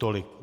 Tolik.